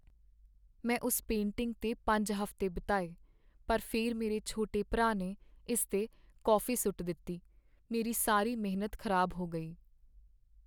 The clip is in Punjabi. ਮੈਂ ਉਸ ਪੇਂਟਿੰਗ 'ਤੇ ਪੰਜ ਹਫ਼ਤੇ ਬਿਤਾਏ ਪਰ ਫਿਰ ਮੇਰੇ ਛੋਟੇ ਭਰਾ ਨੇ ਇਸ 'ਤੇ ਕੌਫੀ ਸੁੱਟ ਦਿੱਤੀ ਮੇਰੀ ਸਾਰੀ ਮਿਹਨਤ ਖ਼ਰਾਬ ਹੋ ਗਈ